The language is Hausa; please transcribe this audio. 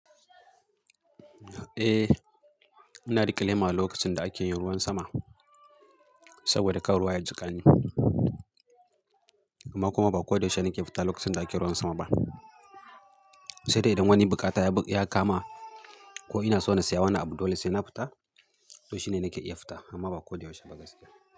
Eh, ina riƙe lema lokacin da ake yin ruwan sama saboda kar ruwa ya jiƙani. Amma kuma ba ko da yaushe nake fita lokacin da ake ruwan sama ba. Sai dai idan wani buƙata ya kama ko ina so na saya wani abu dole sai na fita, to shine nake iya fita amma ba ko da yaushe ba gaskiya.